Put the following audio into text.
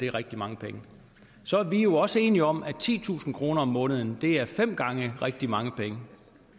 er rigtig mange penge så er vi jo også enige om at titusind kroner om måneden er fem gange rigtig mange penge